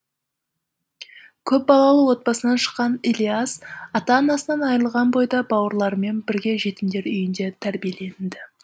көп балалы отбасынан шыққан ілияс ата анасынан айырылған бойда бауырларымен бірге жетімдер үйінде тәрбиеленді